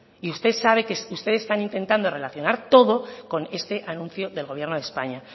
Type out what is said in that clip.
y ustedes están intentando relacionar todo con este anuncio del gobierno de españa